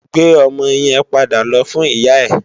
Gbé òmò yèn pàdá lò fún iyá è